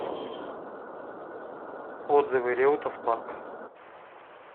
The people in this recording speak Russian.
отзывы реутов парк